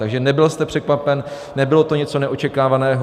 Takže nebyl jste překvapen, nebylo to něco neočekávaného.